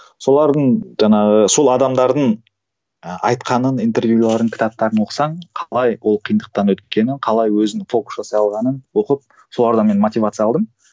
солардың жаңағы сол адамдардың ы айтқанын интервьюлерін кітаптарын оқысаң қалай ол қиындықтан өткенін қалай өзін жасай алғанын оқып солардан мен мотивация алдым